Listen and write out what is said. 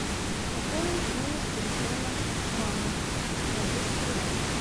пополнить номер телефона мамы на двести рублей